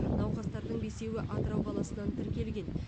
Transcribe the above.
науқастардың бесеуі атырау қаласынан тіркелген